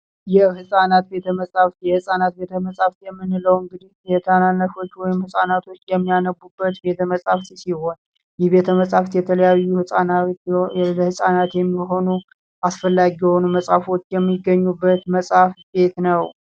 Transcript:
የህፃናት ቤተ መጻሕፍት፦ የሕፃናት ቤተመፃህፍት የምንለው ህጻናቶች ገብተው የሚያነቡበት ቤተመፃህፍት ሲሆን ይህ ቤተመጻሕፍት የተለያዩ ለህፃናት የሚሆኑ አስፈላጊ መጽሃፍቶች የሚገኙበት ቤት ነው።